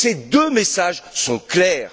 Ces deux messages sont clairs!